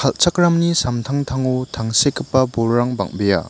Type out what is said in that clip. kal·chakramni samtangtango tangsekgipa bolrang bang·bea.